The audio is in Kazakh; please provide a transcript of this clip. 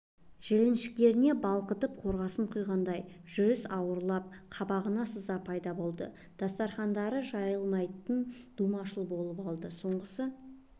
жіліншіктеріне балқытып қорғасын құйғандай жүріс ауырлап қабағына сыз пайда болды дастарқандары жыйылмайтын думаншыл болып алды соңғы